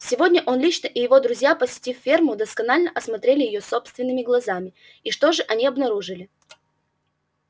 сегодня он лично и его друзья посетив ферму досконально осмотрели её собственными глазами и что же они обнаружили